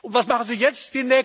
Und was machen Sie jetzt?